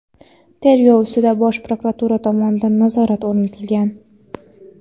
Tergov ustidan Bosh prokuratura tomonidan nazorat o‘rnatilgan.